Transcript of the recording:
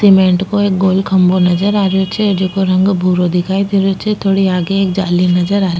cement को एक गोल खम्भों नजर आ रियो छे जेको रंग भूरो दिखाई दे रही छे थोड़ी आगे एक जाली नजर आ --